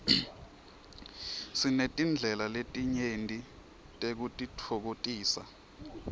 sinetindlela letinyenti tekutitfokotisa